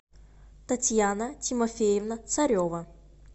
татьяна тимофеевна царева